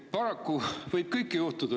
Paraku võib kõike juhtuda.